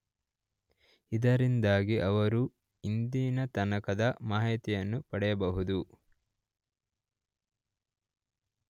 ಇದರಿಂದಾಗಿ ಅವರು ಇಂದಿನತನಕದ ಮಾಹಿತಿಯನ್ನು ಪಡೆಯಬಹುದು